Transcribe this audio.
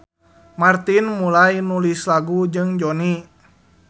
Martin mulai nulis lagu jeung Jonny.